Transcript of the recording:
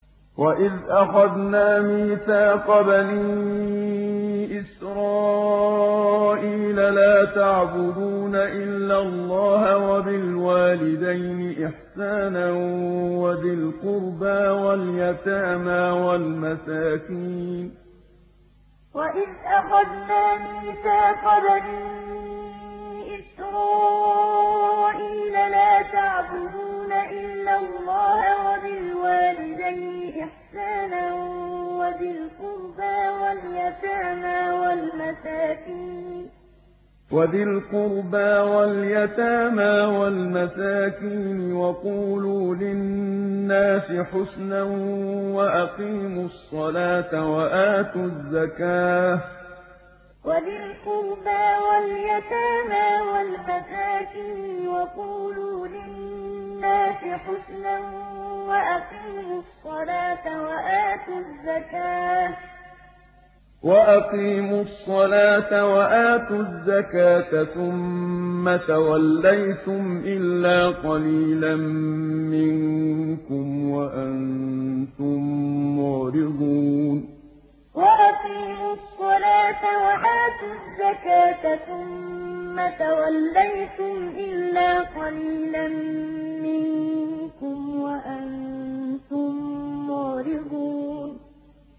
وَإِذْ أَخَذْنَا مِيثَاقَ بَنِي إِسْرَائِيلَ لَا تَعْبُدُونَ إِلَّا اللَّهَ وَبِالْوَالِدَيْنِ إِحْسَانًا وَذِي الْقُرْبَىٰ وَالْيَتَامَىٰ وَالْمَسَاكِينِ وَقُولُوا لِلنَّاسِ حُسْنًا وَأَقِيمُوا الصَّلَاةَ وَآتُوا الزَّكَاةَ ثُمَّ تَوَلَّيْتُمْ إِلَّا قَلِيلًا مِّنكُمْ وَأَنتُم مُّعْرِضُونَ وَإِذْ أَخَذْنَا مِيثَاقَ بَنِي إِسْرَائِيلَ لَا تَعْبُدُونَ إِلَّا اللَّهَ وَبِالْوَالِدَيْنِ إِحْسَانًا وَذِي الْقُرْبَىٰ وَالْيَتَامَىٰ وَالْمَسَاكِينِ وَقُولُوا لِلنَّاسِ حُسْنًا وَأَقِيمُوا الصَّلَاةَ وَآتُوا الزَّكَاةَ ثُمَّ تَوَلَّيْتُمْ إِلَّا قَلِيلًا مِّنكُمْ وَأَنتُم مُّعْرِضُونَ